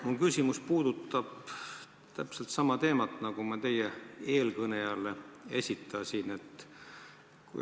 Mu küsimus puudutab aga täpselt sama teemat, mille kohta ma esitasin küsimuse teie eelkõnelejale.